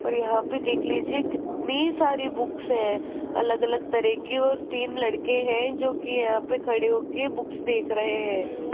और यहां पे देख लीजिए कितनी सारी बुक्स हैं अलग अलग तरह की और तीन लड़के हैं जोकि यहां पे खड़े हो के बुक्स देख रहे हैं।